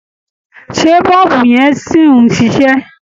Ṣé bọ̀ọ̀bù yẹn sì ń ṣiṣẹ́?